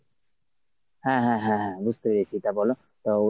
হ্যাঁ হ্যাঁ হ্যাঁ হ্যাঁ বুঝতে পেরেছি। তা বল তা